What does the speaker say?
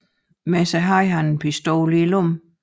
Med sig havde han en pistol i lommen